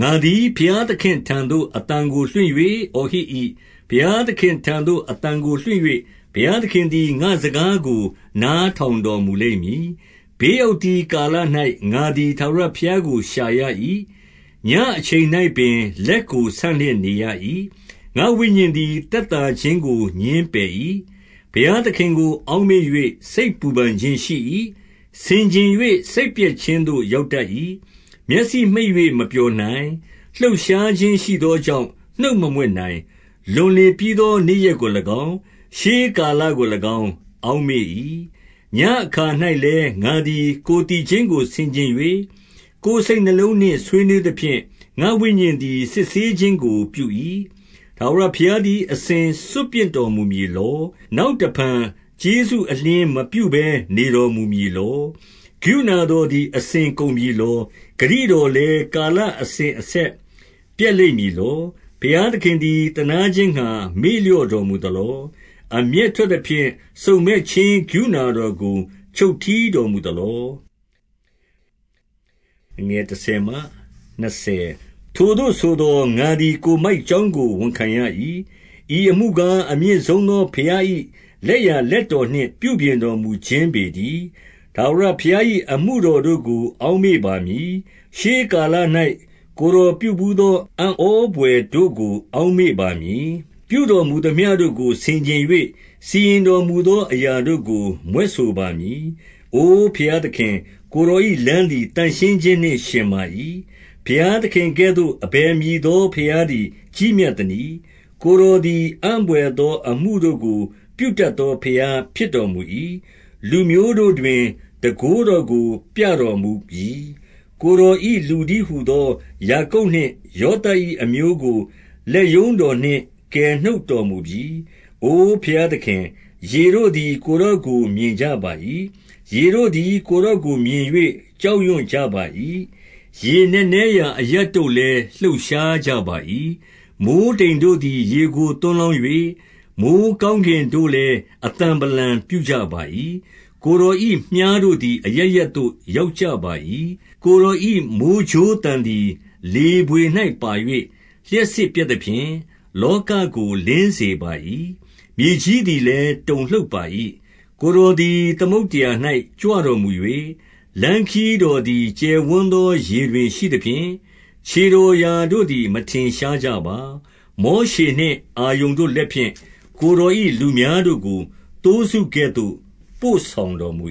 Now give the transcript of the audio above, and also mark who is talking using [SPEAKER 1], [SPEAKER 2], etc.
[SPEAKER 1] ငါသည် ဘုရားသခင့်ထံသို့ အသံကို လွှင့်၍ အော် ဟစ်၏။ ဘုရားသခင့်ထံသို့ အသံကိုလွှင့်၍ ဘုရားသခင်သည် ငါ့စကားကို နားထောင်တော်မူလိမ့်မည်။ ဘေးရောက်သည်ကာလ၌ ငါသည် ထာဝရ ဘုရားကို ရှာရ၏။ ညဉ့်အချိန်၌ ပင်လက်ကို ဆန့်လျက် နေရ၏။ ငါ့ဝိညာဉ်သည် သက်သာခြင်းကို ငြင်းပယ်၏။ ဘုရားသခင်ကို အောက်မေ့၍ စိတ်ပူပန်ခြင်းရှိ၏။ ဆင်ခြင်၍ စိတ်ပျက်ခြင်းသို့ ရောက်တတ်၏။ မျက်စိမှိတ်၍ မပျော်နိုင်။ လှုပ်ရှားခြင်းရှိသော ကြောင့် နှုတ်မမြွက်နိုင်။ လွန်လေပြီးသော နေ့ရက်ကို၎င်း၊ ရှေးကာလ ကို၎င်း အောက်မေ့၏။ ညဉ့်အခါ၌လည်း ငါသည် ကိုယ်သီချင်းကို ဆင်ခြင်၍၊ ကိုယ်စိတ် နှလုံးနှင့် ဆွေးနွေးသဖြင့်၊ ငါ့ဝိညာဉ် သည် စစ်ဆေးခြင်းကို ပြု၏။ ထာဝရဘုရားသည် အစဉ်စွန့်ပစ်တော်မူမည် လော။ နောက်တဖန် ကျေးဇူးအလျှင်းမပြုဘဲ နေတော် မူမည်လော။ ကရုဏာတော်သည် အစဉ်ကုန်ပြီလော။ ဂတိ တော်လည်း ကာလအစဉ်အဆက်ပျက်လိမ့်မည်လော။ ဘုရားခင်သည် သနားခြင်းငှါ မေ့လျော့တော်မူ သလော။ အမျက်ထွက်သဖြင့် စုံစမ်းခြင်းကရုဏာတော် ကို ချုပ်တည်းတော်မူသလော။ ထိုသို့ဆိုသော် ငါသည် ကိုယ်မိုက်ကြောင်းကို ဝန်ခံရ၏။ ဤအမှုကား၊ အမြင့်ဆုံးသော ဘုရား၏ လက်ျာလက်တော်နှင့် ပြုပြင်တော်မူခြင်းပေတည်း။ ထာဝရဘုရား၏ အမှုတော်တို့ကို အောက်မေ့ ပါမည်။ ရှေးကာလ၌ ကိုယ်တော်ပြုဘူးသော အံ့ဩဘွယ် တို့ကို အောက်မေ့ပါမည်။ ပြုတော်မူသမျှတို့ကို ဆင်ခြင်၍စီရင်တော်မူ သော အရာတို့ကို မြွက်ဆိုပါမည်။ အိုဘုရားသခင်၊ ကိုယ်တော်၏ လမ်းသည် သန့်ရှင်းခြင်းနှင့်ယှဉ်ပါ၏။ ဘုရားသခင်ကဲ့သို့ အဘယ်မည်သော ဘုရားသည် ကြီးမြတ်သနည်း။ ကိုယ်တော်သည် အံ့ဘွယ်သော အမှုတို့ကို ပြုတတ်သော ဘုရားဖြစ်တော်မူ၏။ လူမျိုးတို့တွင် တန်ခိုးတော်ကို ပြတော်မူပြီ။ ကိုယ်တော်၏ လူတည်းဟူသော ယာကုပ်နှင့် ယောသပ်၏အမျိုးကို လက်ရုံးတော်နှင့် ကယ်နှုတ်တော် မူပြီ။ အို ဘုရားသခင်၊ ရေတို့သည် ကိုယ်တော်ကို မြင်ကြပါ၏။ ရေတို့သည် ကိုယ်တော်ကို မြင်၍ ကြောက် ရွံ့ကြပါ၏။ ရေနက်နဲရာအရပ်တို့လည်း လှုပ်ရှားကြပါ၏။ မိုဃ်းတိမ်တို့သည် ရေကို သွန်းလောင်း၍၊ မိုဃ်း ကောင်းကင်တို့လည်း အသံဗလံပြုကြပါ၏။ ကိုယ်တော်၏ မြှားတို့သည် အရပ်ရပ်သို့ ရောက်ကြပါ၏။ ကိုယ်တော်၏ မိုဃ်းကြိုးသံသည် လေဘွေ၌ပါ၍၊ လျှပ်စစ်ပြက်သဖြင့်၊ လောကကို လင်းစေပါ၏။ မြေကြီး သည်လည်း တုန်လှုပ်ပါ၏။ ကိုယ်တော်သည် သမုဒ္ဒရာ၌ ကြွတော်မူ၍၊ လမ်းခရီးတော်သည် ကျယ်ဝန်းသော ရေတွင်ရှိသဖြင့်၊ ခြေတော်ရာတို့သည် မထင်ရှားကြပါ။ မောရှေနှင့် အာရုန်တို့လက်ဖြင့် ကိုယ်တော်၏ လူများတို့ကို သိုးစုကဲ့သို့ ပို့ဆောင်တော်မူ